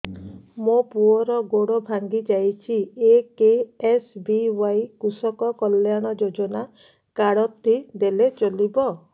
ମୋ ପୁଅର ଗୋଡ଼ ଭାଙ୍ଗି ଯାଇଛି ଏ କେ.ଏସ୍.ବି.ୱାଇ କୃଷକ କଲ୍ୟାଣ ଯୋଜନା କାର୍ଡ ଟି ଦେଲେ ଚଳିବ